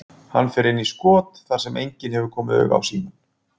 Hann fer inn í skot þar sem enginn hefur komið auga á símann.